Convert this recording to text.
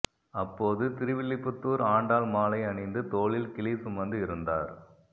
அப்போது திருவில்லிபுத்தூர் ஆண்டாள் மாலை அணிந்து தோளில் கிளி சுமந்து இருந்தார்